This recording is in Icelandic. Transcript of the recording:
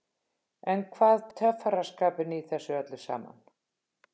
En hvað töffaraskapinn í þessu öllu saman?